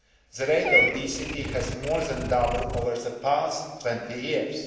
The rate of obesity has more than doubled over the past 20 years.